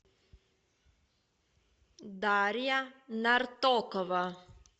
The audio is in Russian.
дарья нартокова